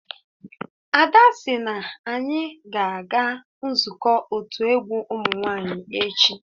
Ada sị na anyị ga-aga nzukọ otu egwu ụmụ nwanyị echi